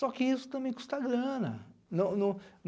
Só que isso também custa grana. Não não